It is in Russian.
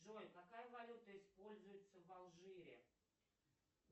джой какая валюта используется в алжире